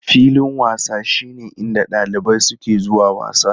Filin wasa shine inda ɗalibai suke zuwa wasa.